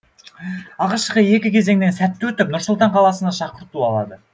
алғашқы екі кезеңнен сәтті өтіп нұр сұлтан қаласына шақырту алады